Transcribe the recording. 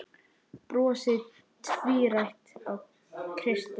Brosið tvírætt á Kristi.